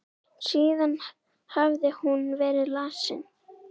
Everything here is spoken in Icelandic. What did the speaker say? Síðan hafði hún verið lasin.